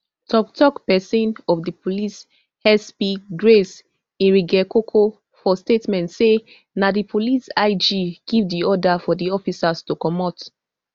toktok pesin of di police sp grace iringekoko for statement say na di police ig give di order for di officers to comot